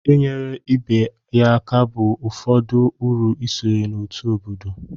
inyere ibe ya aka bụ ụfọdụ uru isonye n'otu obodo